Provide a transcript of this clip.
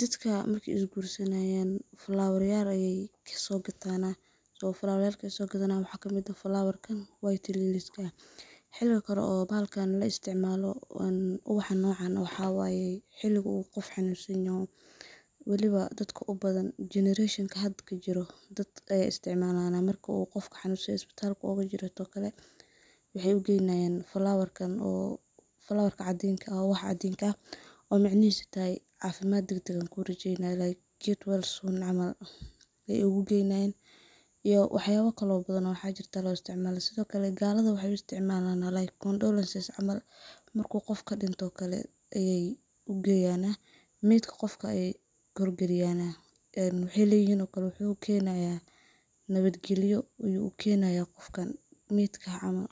dadka markay is gursanayan flawaryal ayay kasogatanah, so flawaryalka sogadanayan waxaa kamid ah flawarkan white lillys ka , xiliga kale oo bahalkan laisticmalo ubaxan nocan waxaa waye xiligu uu qof xanunsanyaho weliba dadka ubathan jenereshonka hada jiro dad ayaa istricmalana marku qof xanunsanyaho ispitral ogajiro oo kale waxey ugeynayan flawarkan oo flawarkan cadinka ubaxa cadinka ah oo micnihisa tahay cafimad dag dag ankurajeynaya get well soon camal ay ugu geynayan iyo wax yaba kale oo bathan oo lo isticmalo, sidhokale galada waxay u isticmalana like condolences camal, marku qof kadinto ayey ugeyanah medka qofka ay kor galiyanah een waxay leyihin oo kale wuxu ukenayaa nawad galiyo ayuu u kenayaa qofkan medka ah camal.